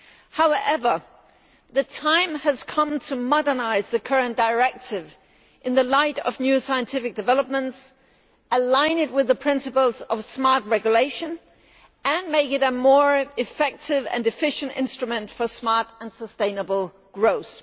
However, the time has come to modernise the current Directive in the light of new scientific developments, align it with the principles of smart regulation, and make it a more effective and efficient instrument for smart and sustainable growth.